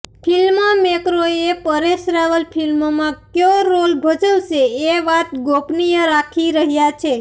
film મેકરોએ પરેશ રાવલ ફિલ્મમાં કયો રોલ ભજવશે એ વાત ગોપનીય રાખી રહ્યા છે